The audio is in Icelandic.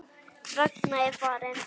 Ragna er farin.